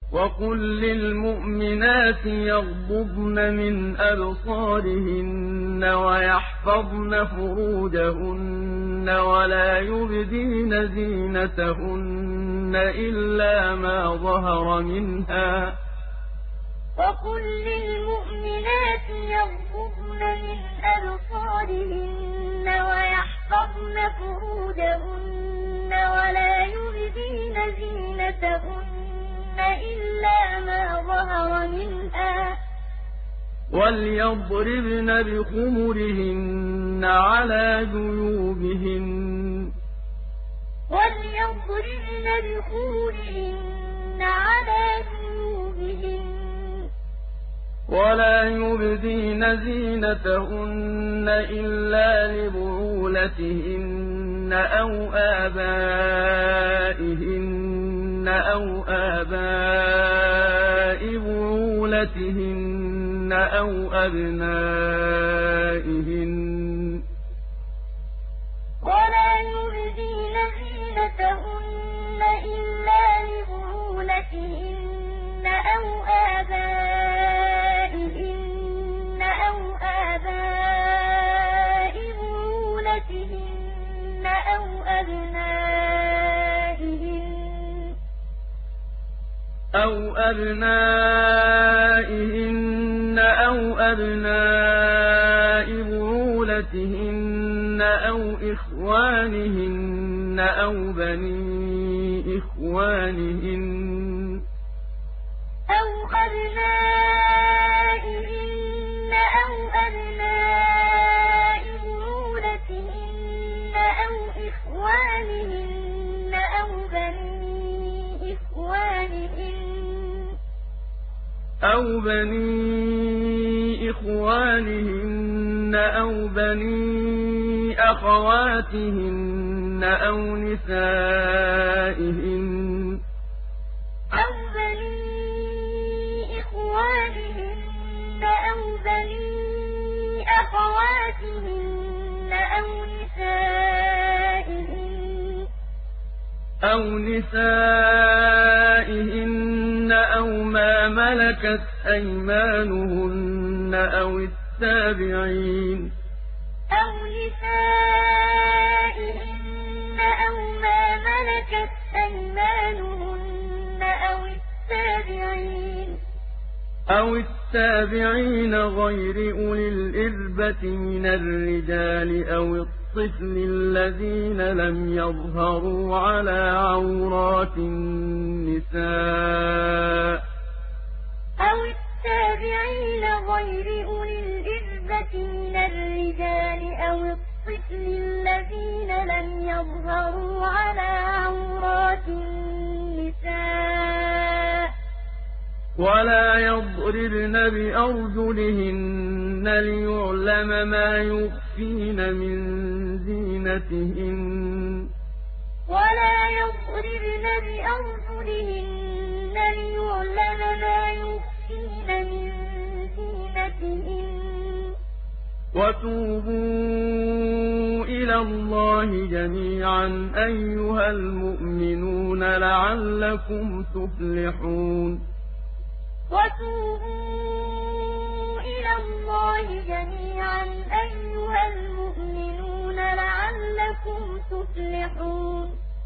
وَقُل لِّلْمُؤْمِنَاتِ يَغْضُضْنَ مِنْ أَبْصَارِهِنَّ وَيَحْفَظْنَ فُرُوجَهُنَّ وَلَا يُبْدِينَ زِينَتَهُنَّ إِلَّا مَا ظَهَرَ مِنْهَا ۖ وَلْيَضْرِبْنَ بِخُمُرِهِنَّ عَلَىٰ جُيُوبِهِنَّ ۖ وَلَا يُبْدِينَ زِينَتَهُنَّ إِلَّا لِبُعُولَتِهِنَّ أَوْ آبَائِهِنَّ أَوْ آبَاءِ بُعُولَتِهِنَّ أَوْ أَبْنَائِهِنَّ أَوْ أَبْنَاءِ بُعُولَتِهِنَّ أَوْ إِخْوَانِهِنَّ أَوْ بَنِي إِخْوَانِهِنَّ أَوْ بَنِي أَخَوَاتِهِنَّ أَوْ نِسَائِهِنَّ أَوْ مَا مَلَكَتْ أَيْمَانُهُنَّ أَوِ التَّابِعِينَ غَيْرِ أُولِي الْإِرْبَةِ مِنَ الرِّجَالِ أَوِ الطِّفْلِ الَّذِينَ لَمْ يَظْهَرُوا عَلَىٰ عَوْرَاتِ النِّسَاءِ ۖ وَلَا يَضْرِبْنَ بِأَرْجُلِهِنَّ لِيُعْلَمَ مَا يُخْفِينَ مِن زِينَتِهِنَّ ۚ وَتُوبُوا إِلَى اللَّهِ جَمِيعًا أَيُّهَ الْمُؤْمِنُونَ لَعَلَّكُمْ تُفْلِحُونَ وَقُل لِّلْمُؤْمِنَاتِ يَغْضُضْنَ مِنْ أَبْصَارِهِنَّ وَيَحْفَظْنَ فُرُوجَهُنَّ وَلَا يُبْدِينَ زِينَتَهُنَّ إِلَّا مَا ظَهَرَ مِنْهَا ۖ وَلْيَضْرِبْنَ بِخُمُرِهِنَّ عَلَىٰ جُيُوبِهِنَّ ۖ وَلَا يُبْدِينَ زِينَتَهُنَّ إِلَّا لِبُعُولَتِهِنَّ أَوْ آبَائِهِنَّ أَوْ آبَاءِ بُعُولَتِهِنَّ أَوْ أَبْنَائِهِنَّ أَوْ أَبْنَاءِ بُعُولَتِهِنَّ أَوْ إِخْوَانِهِنَّ أَوْ بَنِي إِخْوَانِهِنَّ أَوْ بَنِي أَخَوَاتِهِنَّ أَوْ نِسَائِهِنَّ أَوْ مَا مَلَكَتْ أَيْمَانُهُنَّ أَوِ التَّابِعِينَ غَيْرِ أُولِي الْإِرْبَةِ مِنَ الرِّجَالِ أَوِ الطِّفْلِ الَّذِينَ لَمْ يَظْهَرُوا عَلَىٰ عَوْرَاتِ النِّسَاءِ ۖ وَلَا يَضْرِبْنَ بِأَرْجُلِهِنَّ لِيُعْلَمَ مَا يُخْفِينَ مِن زِينَتِهِنَّ ۚ وَتُوبُوا إِلَى اللَّهِ جَمِيعًا أَيُّهَ الْمُؤْمِنُونَ لَعَلَّكُمْ تُفْلِحُونَ